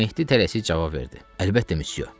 Mehdi tələsik cavab verdi: "Əlbəttə, missiyo."